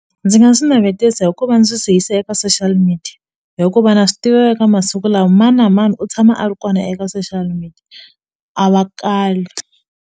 Ndzi nga swi navetisa hi ku va ndzi swi yisa eka social media hikuva na swi tiva eka masiku lama mani na mani u tshama a ri kona eka social media a va kali.